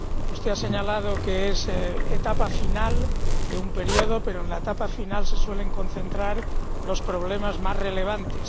Usted ha señalado que es etapa final de un periodo, pero en la etapa final se suelen concentrar los problemas más relevantes.